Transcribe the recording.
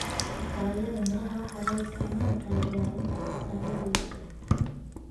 Dalagyada miraha waxaa loo isticmaali karaa diyaarinta cabitaanno dabiici ah.